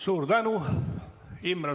Suur tänu!